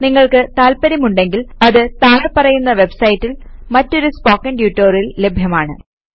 നിങ്ങൾക്ക് താത്പര്യമുണ്ടെങ്കിൽ അത് താഴെ പറയുന്ന വെബ്സൈറ്റിൽ മറ്റൊരു സ്പോക്കൺ ട്യൂട്ടോറിയൽ ലഭ്യമാണ്